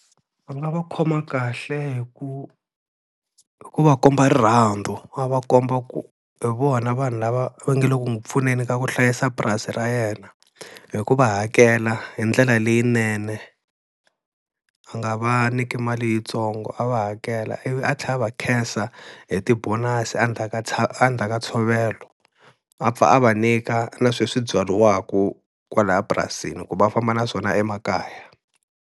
A nga va khoma kahle hi ku, hi ku va komba rirhandzu a va komba ku hi vona vanhu lava va nga le ku n'wi pfuneni ka ku hlayisa purasi ra yena, hi ku va hakela hi ndlela leyinene a nga va nyiki mali yitsongo. A va hakela ivi a tlhela a va khensa hi ti-bonus a ndzhaka ka ntshovelo, a pfa a va nyika na sweswi byariwaku kwalaya epurasini ku va famba na swona emakaya.